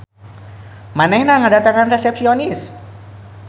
Manehna ngadatangan resepsionis.